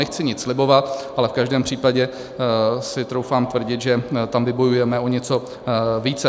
Nechci nic slibovat, ale v každém případě si troufám tvrdit, že tam vybojujeme o něco více.